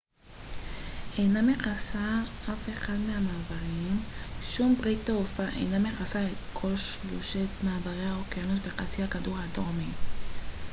שום ברית תעופה אינה מכסה את כל שלושת מעברי האוקיינוס בחצי הכדור הדרומי ו־skyteam אינה מכסה אף אחד מהמעברים